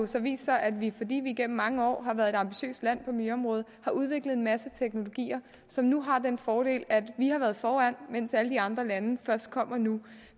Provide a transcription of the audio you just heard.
så vist sig at vi fordi vi igennem mange år har været et ambitiøst land på miljøområdet har udviklet en masse teknologier som nu har den fordel at vi har været foran mens alle de andre lande først kommer nu